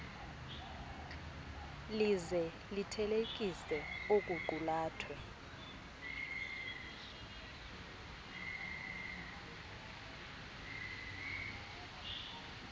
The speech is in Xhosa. lize lithelekise okuqulathwe